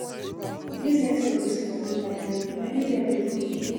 This network excuse don dey tire me, na every day i go dey come here?